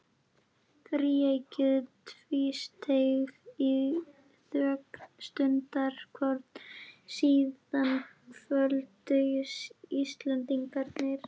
Þríeykið tvísteig í þögn stundarkorn, síðan kvöddu Íslendingarnir.